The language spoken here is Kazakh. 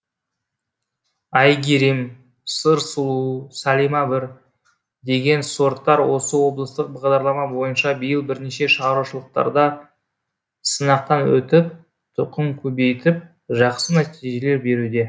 айгерім сыр сұлу сәлима бір деген сорттар осы облыстық бағдарлама бойынша биыл бірнеше шаруашылықтарда сынақтан өтіп тұқым көбейтіп жақсы нәтижелер беруде